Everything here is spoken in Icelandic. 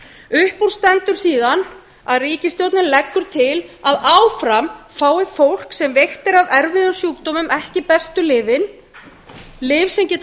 upp úr stendur síðan að ríkisstjórnin leggur til að áfram fái fólk sem veikt er af erfiðum sjúkdómum ekki bestu lyfin lyf sem geta